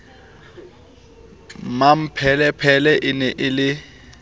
mmapelepele e ne e le